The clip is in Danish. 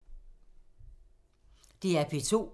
DR P2